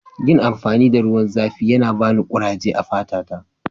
Yin amfani da ruwan zafi yana bani kuraje a'fata ta.